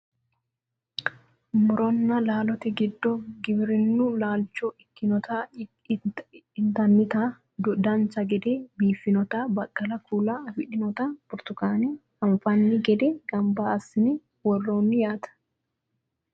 muronna laalote giddo giwirinnu laalcho ikkitinota intannita dancha gede biiffannota baqqala kuula afidhinota burtukaane anfanni gede ganba assine worroonni yaate